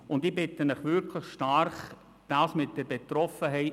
Von einer solchen Regelung sind weit mehr betroffen, als Sie denken, Frau Mühlheim.